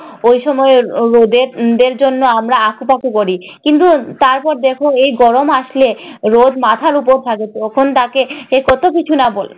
ওই সময়ে রোদের রোদের জন্য আমরা আঁকুপাঁকু করি। কিন্তু তারপর দেখ এই গরম আসলে রোদ মাথার উপর থাকে তখন তাকে কত কিছু না বলি।